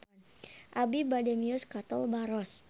Abi bade mios ka Tol Baros